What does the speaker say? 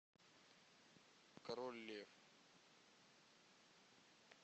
король лев